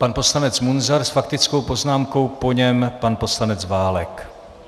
Pan poslanec Munzar s faktickou poznámkou, po něm pan poslanec Válek.